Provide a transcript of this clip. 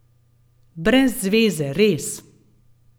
Brez zveze, res.